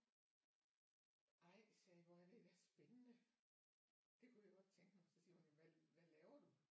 Ej sagde jeg hvor er det da spændende det kunne jeg godt tænke mig så siger hun jo hvad hvad laver du